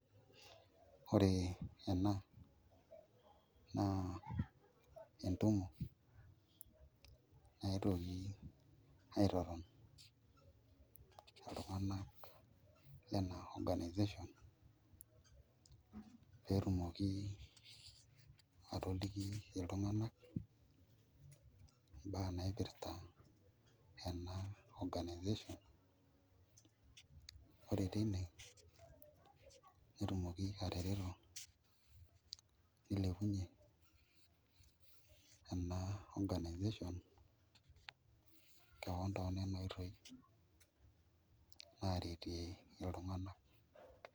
Ore ena naa entumo netuoki aitoton iltung'anak lena organisation pee etumoki atoliki iltung'anak mbaa naipirta ena organisation ore teine netumoki atareto nilepunyie ena organisation keon toonena oitoi naaretie iltung'anak.